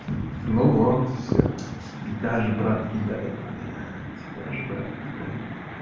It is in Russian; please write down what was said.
ну вот всё даже брат кидает блять даже брат кидает